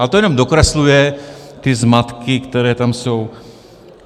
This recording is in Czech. A to jen dokresluje ty zmatky, které tam jsou.